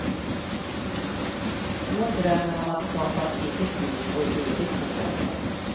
Hon drömmer om att skapa ett eget liv och ett eget boende.